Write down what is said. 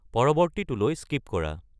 পৰৱৰ্তীটোলৈ skip কৰা